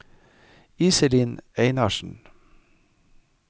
Iselin Einarsen